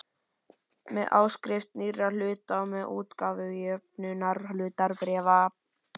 með áskrift nýrra hluta og með útgáfu jöfnunarhlutabréfa.